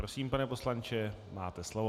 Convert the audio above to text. Prosím, pane poslanče, máte slovo.